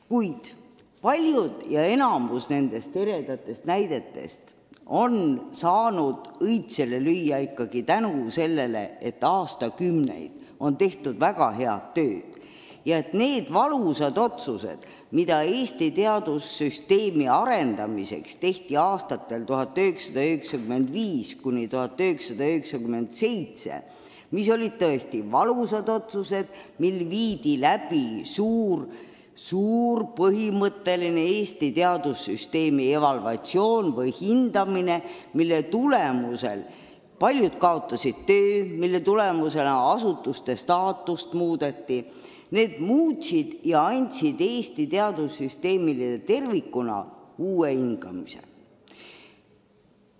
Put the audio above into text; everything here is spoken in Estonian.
Kuid enamik nendest eredatest näidetest on saanud õitsele lüüa ikkagi tänu sellele, et aastakümneid on tehtud väga head tööd ja et need valusad otsused, mis Eesti teadussüsteemi arendamiseks langetati aastatel 1995–1997 – need olid tõesti valusad otsused, kui viidi läbi ulatuslik põhimõtteline Eesti teadussüsteemi evalvatsioon ehk hindamine, mille tõttu paljud kaotasid töö ja asutuste staatust muudeti –, andsid Eesti teadussüsteemile tervikuna uue hingamise.